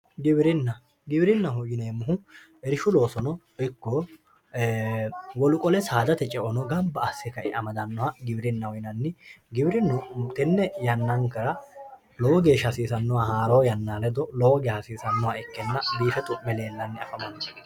Giwirinna giwirinaho yineemmohu irshu loosono ikko wole saadate baalla gamba asse amadanoha giwirinnaho yineemmo tene yannankera lowo geeshsha hasiisanoha lowo geeshsha hasiisanoha ikke leellano.